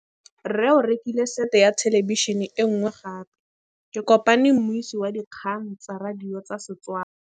Rre o rekile sete ya thêlêbišênê e nngwe gape. Ke kopane mmuisi w dikgang tsa radio tsa Setswana.